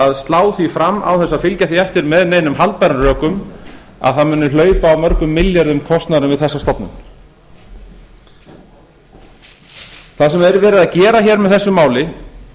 að slá því fram án þess að fylgja því eftir með neinum haldbærum rökum að það muni hlaupa á mörgum milljörðum kostnaðurinn við þessa stofnun það sem er verið að gera hér með þessu máli